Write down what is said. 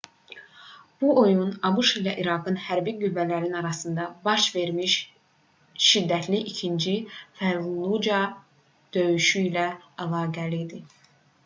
bu oyun abş ilə i̇raqın hərbi qüvvələri arasında baş vermiş şiddətli i̇kinci fəllucə döyüşü ilə əlaqəli idi